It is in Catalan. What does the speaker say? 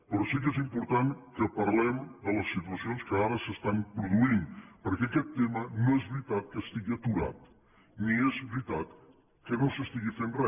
però sí que és important que parlem de les situacions que ara s’estan produint perquè aquest tema no és veritat que estigui aturat ni és veritat que no s’estigui fent re